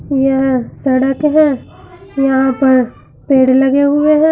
यह सड़क है यहां पर पेड़ लगे हुए है।